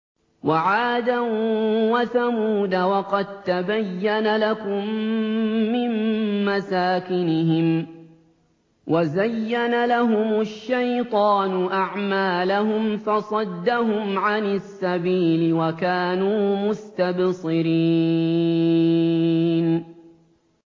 وَعَادًا وَثَمُودَ وَقَد تَّبَيَّنَ لَكُم مِّن مَّسَاكِنِهِمْ ۖ وَزَيَّنَ لَهُمُ الشَّيْطَانُ أَعْمَالَهُمْ فَصَدَّهُمْ عَنِ السَّبِيلِ وَكَانُوا مُسْتَبْصِرِينَ